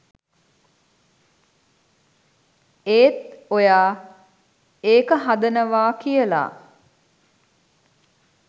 ඒත් ඔයා ඒක හදනවා කියලා